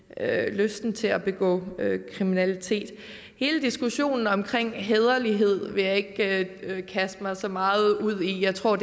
lysten til at begå kriminalitet hele diskussionen om hæderlighed vil jeg ikke kaste mig så meget ude i jeg tror